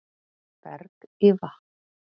Berg í vatn